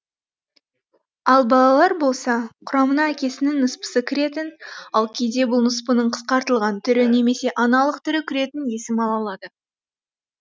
ал балалар болса құрамына әкесінің ныспысы кіретін ал кейде бұл ныспының қысқартылған түрі немесе аналық түрі кіретін есім ала алады